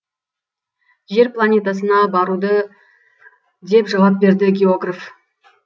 жер планетасына баруды деп жауап берді географ